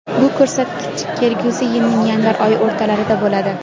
bu ko‘rsatkich kelgusi yilning yanvar oyi o‘rtalarida bo‘ladi.